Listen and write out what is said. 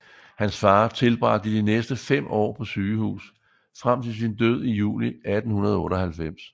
Hans far tilbragte de næste fem år på sygehus frem til sin død i juli 1898